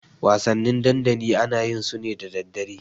Wasanni dandali ana yin su ne da daddare.